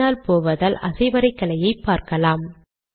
பின்னால் போவதால் அசைவரைகலையை பார்க்கலாம்